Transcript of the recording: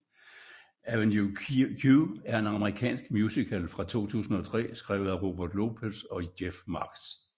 Avenue Q er en amerikansk musical fra 2003 skrevet af Robert Lopez og Jeff Marx